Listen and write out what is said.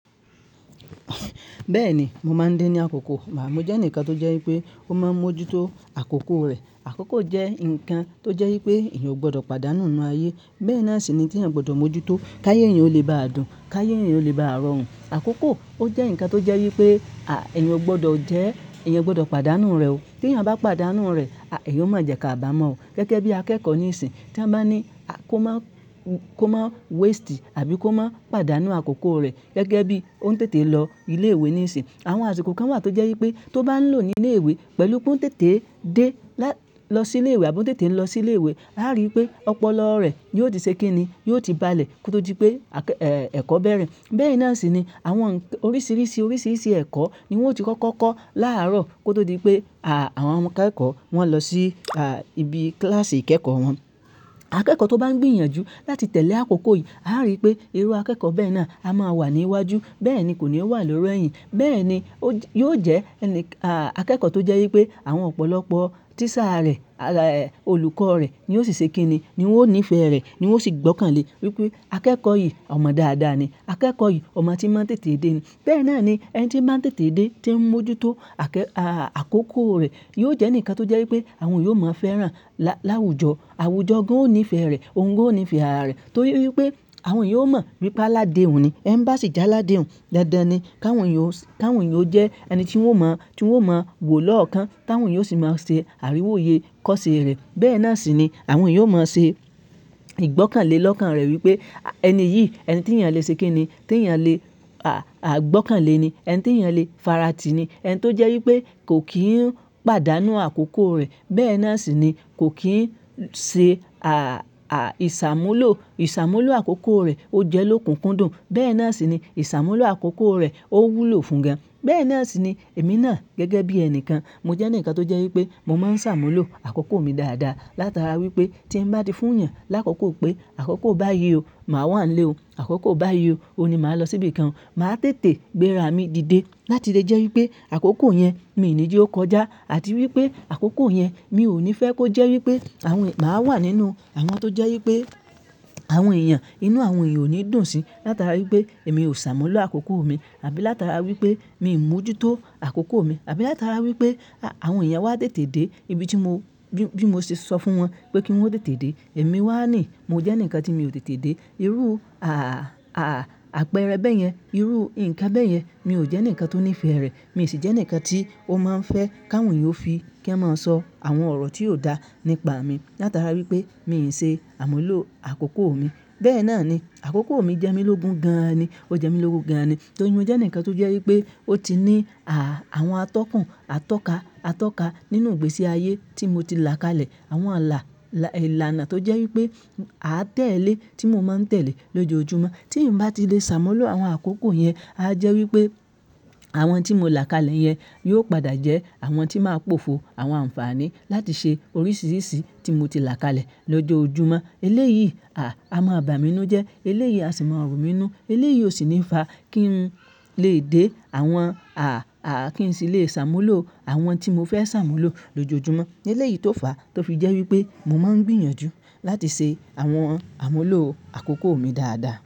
Bẹ́ẹ̀ni, mo máa ń dé ní àkókò, mò jẹ́ ǹkan tó jẹ́ wípé ó máa ń mójútó àkókò rẹ̀. Àkókò jẹ́ ǹkan tó jẹ́ wípé èèyàn ò gbọdọ̀ pàdánù nínú ayé. Bẹ́ẹ̀ náà sì ni tí èèyàn gbọdọ̀ mójútó káyé èèyàn o lè ba à dùn, káyé èèyàn o lè ba à rọrùn. Àkókò ó jẹ́ ǹkan tó jẹ́ wípé, à, èèyàn ò gbọdọ̀ jẹ́, èèyàn ò gbọdọ̀ pàdánù rẹ̀ o. Tí èèyàn bá pàdánù rẹ̀, a, èèyàn ó máa jẹ̀ ká à bà mọ́ o. Gẹ́gẹ́ bí akẹ́kọ̀ọ́ ní ìsìn tí a bá ní a, kó máa kó máa waste àbí kó máa pàdánù àkókò rẹ̀. Gẹ́gẹ́ bí ó ń tètè lọ ilé ìwé ní ìsìn. Àwọn àsìkò kan wà tó jẹ́ wípé tó bá ń lò ní ilé ìwé pẹ̀lú pé ó ń tètè dé, lọ sí ilé ìwé àbí ó ń tètè lọ sí ilé ìwé, á rí i pé ọpọlọ rẹ̀ yóò di ṣe kí ni, yóò ti balẹ̀ kó tó di pé àkẹ́-- èè, ẹ̀kọ́ bẹ̀rẹ̀. Bẹ́ẹ̀ náà sì ni àwọn ǹkàn oríṣìíríṣìí, oríṣìíríṣìí ẹ̀kọ́ ni wón ó ti kọ́kọ́ kọ́ láàárọ̀ kó tó di pé, à, àwọn akẹ́kọ̀ọ́ wọn lọ sí, à, ibi kíláàsì ìkẹ́kọ̀ọ́ wọn. Akẹ́kọ̀ọ́ tó bá ń gbìyànjú láti tẹ̀lé àkókò yìí, a á rí i pé irú akẹ́kọ̀ọ́ bẹ́ẹ̀ náà a máa wà ní iwájú. Bẹ́ẹ̀ ni kò ní wà l'órí ẹ̀yìn. Bẹ́ẹ̀ ni ó jè yóò jẹ́ ẹni, à, akẹ́kọ̀ọ́ tó jẹ́ wípé àwọn ọ̀pọ̀lọpọ̀ tíṣà rẹ̀, à, olùkọ́ rẹ̀ ni ó sì ṣe kí ni, ni ó níí fẹ́ rẹ̀, ni ó sì gbọ́kànlé wípé akẹ́kọ̀ọ́ yìí ọmọ dáadáa ni, akẹ́kọ̀ọ́ yìí ọmọ tí máa ń tètè dé ni. Bẹ́ẹ̀ náà ni ẹni tí máa ń tètè dé, tí ń mójútó àkẹ́- àà, àkókò rẹ̀ yóò jẹ́ ǹkan tó jẹ́ wípé àwọn èèyàn ó máa fẹ́ràn lá, láwùjọ. Àwùjọ gan-an ó níí fẹ́ rẹ̀, òun gan-an ó níí fẹ́ ara rẹ̀. Torí wípé àwọn èèyàn ó mọ̀ wípé aládè hùn ni, enì bà ṣì jẹ́ aládè òun. Dandan ni káwọn èèyàn ó, káwọn èèyàn ó jẹ́ ẹni tí wọ́n ó máa, tí wọ́n ó máa wò lọ́ọ̀kan, Tì áwọn èèyàn ó sì máa ṣe àríwóye kọ́ṣe rẹ̀. Bẹ́ẹ̀ náà sì ni àwọn èèyàn ó máa ṣe ìgbọ́kànlé lọ́kàn rẹ̀ wípé ẹni yìí, ẹni tí èèyàn lè ṣe kí ni, tí èèyàn lè, à, à, gbọ́kànlé ni, ẹni tí èèyàn lè faratì ni. Ẹni tó jẹ́ wípé kò kí ń pàdánù àkókò rẹ̀. Bẹ́ẹ̀ náà sì ni kò kí ń ṣe, à, à, ìṣàmúlò, ìṣàmúlò àkókò rẹ̀ ó jẹ́ lókùn kúndùn. Bẹ́ẹ̀ náà sì ni ìṣàmúlò àkókò rẹ̀ ó wúlò fún gan. Bẹ́ẹ̀ náà sì ni èmi náà gẹ́gẹ́ bí ẹni kan, mo jẹ́ ǹkan tó jẹ́ wípé mo máa ń ṣàmúlò àkókò mi dáadáa. Látara wípé tí ń bá tí fún èèyàn lákòókò pé àkókò bá ye o, màá wà nílé o. Àkókò bá yì ọ, òun ni màá lọ síbí kan. Màá tètè gbéra mi di dé láti lè jẹ́ wípé àkókò yẹn mi ní jè ọkọjá àti wípé àkókò yẹn mi ò ní fẹ́ kó jẹ́ wípé àwọn èèyàn máa wà nínú àwọn tó jẹ́ wípé àwọn èèyàn inú àwọn èèyàn ò ní dùn sí. Látara wípé èmi ò ṣàmúlò àkókò mi àbí látara wípé mi ń mójútó àkókò mi àbí látara wípé àwọn èèyàn wá tètè dé ibi tí mo, bí, bí mo ṣe sọ fún wọn pé kí wọ́n tètè dé, èmi wà ní, mo jẹ́ ǹkan tí mi ò tètè dé. Irú, à, à, àpẹẹrẹ bẹ́ẹ̀ yẹn. Irú ǹkan bẹ́ẹ̀ yẹn mi ò jẹ́ ẹ̀ǹìkan tó níí fẹ́ rẹ̀. Mi sì jẹ́ ǹkan tí ó máa ń fẹ́ kì áwọn èèyàn ó fi kí wọ́n máa sọ àwọn ọ̀rọ̀ tí yóò dá nípa mi látara wípé mi ì ṣe àmúlò àkókò mi. Bẹ́ẹ̀ náà ni àkókò mi jẹ́ mi lógún gan-an ni. Ó jẹ́ mi lógún gan-an ni torí mọ jẹ́ ǹkan tó jẹ́ wípé ó ti ní à, àwọn atọ́kùn, atọ́ka, atọ́ka nínú ìgbésí ayé tí mo ti là kalẹ̀. Àwọn àlà, àlà, ìlànà tó jẹ́ wípé a tẹ̀lé tí mo máa ń tẹ̀lé lójoojúmọ́. Tím bá ti lè ṣàmúlò àwọn àkókò yẹn, a jẹ́ wípé àwọn tí mo là kalẹ̀ yẹn yóò padà jẹ́ àwọn tí máa pòfo àwọn àǹfààní láti ṣe oríṣìíríṣìí tí mo ti là kalẹ̀ lójoojúmọ́. Eléyìí, à, a máa ba mi nu jẹ́, eléyìí a sì máa rù mí ń nu. Eléyìí ò sì ní fa kí ń lè dé àwọn, à, à, kí ń sì lè ṣàmúlò àwọn tí mo fẹ́ ṣàmúlò lójoojúmọ́. Eléyìí tó fà tó fi jẹ́ wípé mo máa ń gbìyànjú láti ṣe àwọn àmúlò àkókò mi dáadáa.